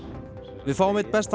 við fáum einn besta